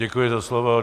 Děkuji za slovo.